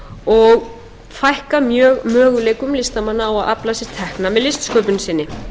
og fækkað mjög möguleikum listamanna á að afla sér tekna með listsköpun sinni í